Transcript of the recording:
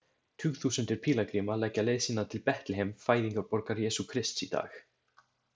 Tugþúsundir pílagríma leggja leið sína til Betlehem, fæðingarborgar Jesú Krists í dag.